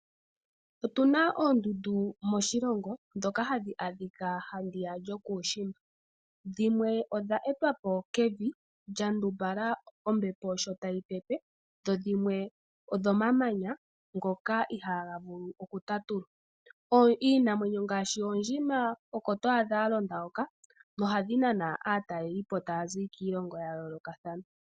Otuna oondundu moshilongo ndhoka hadhi adhika handiyaka lyokuushimba. Dhimwe odheetwa po kevi lya ndumbala ombepo sho tayi pepe. Dho dhimwe odhomamanya ngoka ihaaga vulu okutatulwa. Iinamwenyo ngaashi oondjima oko to adha dha londa hoka nohadhi nana aatalelipo taya zi kiilongo ya yoolokathana.